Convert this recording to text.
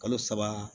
Kalo saba